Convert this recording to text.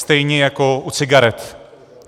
Stejně jako u cigaret.